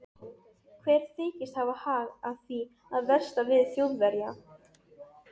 Hver þykist hafa hag af því að versla við Þjóðverja?